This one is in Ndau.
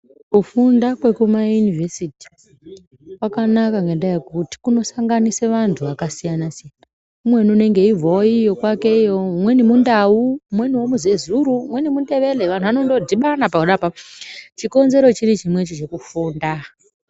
Kufunda kwekumayunivhesiti kwakanaka ngendaa yekuti kunosanganisa antu akasiyana siyana. Umweni unenge eibvawo kwake iyo, umweni muNdau, umweniwo muZezuru, umweni muNdebele. Vantu vanondodhibana pona apapo. Chikonzero chiri chimwecho chekufunda.